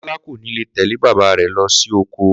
Kó̩lá kò ní lè tè̩lé bàbá rè̩ lo̩ si oko